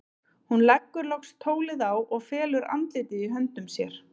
Hún leggur loks tólið á og felur andlitið í höndum sér.